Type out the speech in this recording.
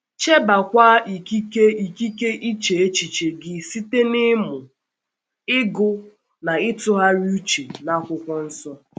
Chebekwa ikike ikike iche echiche gị site n’ịmụ, ịgụ na ịtụgharị uche n’Akwụkwọ Nsọ...